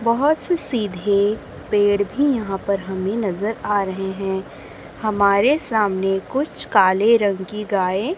बहोत से सीधे पेड़ भी यहां पर हमें नजर आ रहे हैं हमारे सामने कुछ काले रंग की गायें--